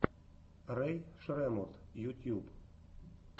рэй шреммурд ютьюб